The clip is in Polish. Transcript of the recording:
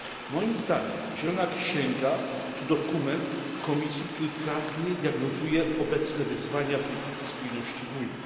Moim zdaniem zielona księga to dokument Komisji, który trafnie diagnozuje obecne wyzwania polityki spójności w Unii.